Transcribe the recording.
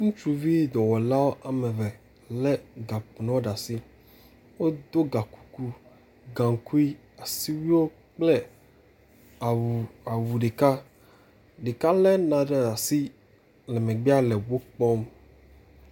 ŋutsuvi dɔwɔla wɔmeve le gakpo nuwo ɖeasi wodó gakuku gaŋkui asiwuio kple awu ɖeka ɖeka ɖe naɖe ɖeasi le megbe le wó kpɔm